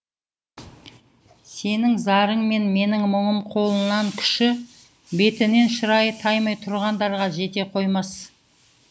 сенің зарың мен менің мұңым қолынан күші бетінен шырайы таймай тұрғандарға жете қоймас